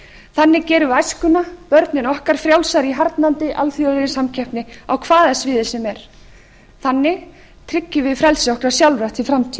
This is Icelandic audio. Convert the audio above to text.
þannig gerum við æskuna börnin okkar frjálsari í harðnandi alþjóðlegri samkeppni á hvaða sviði sem er þannig tryggjum við frelsi okkar sjálfra til